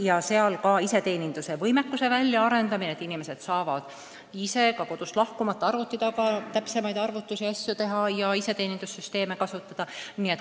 Ka tuleb välja arendada iseteeninduse võimekus, et inimesed saaksid ise kodust lahkumata arvuti taga täpsemaid arvutusi teha ja muukski iseteenindussüsteemi kasutada.